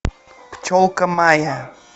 пчелка майя